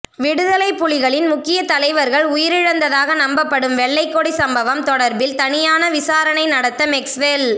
விடுதலைப் புலிகளின் முக்கிய தலைவர்கள் உயிரிழந்ததாக நம்பப்படும் வெள்ளைக்கொடி சம்பவம் தொடர்பில் தனியான விசாரணை நடத்த மெக்ஸ்வெல்